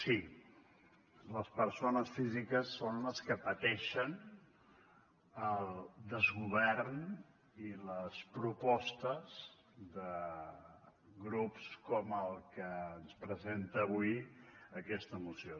sí les persones físiques són les que pateixen el desgovern i les propostes de grups com el que ens presenta avui aquesta moció